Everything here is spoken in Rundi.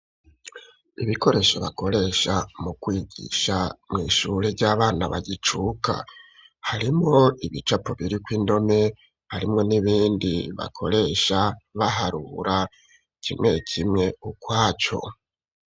Ibikoresho bakoresha mu kwigisha mw'ishure ry'abana bagicuka. Harimwo ibicapo biriko indome, harimwo n'ibindi bakoresha baharura kimwe kimwe ukwaco.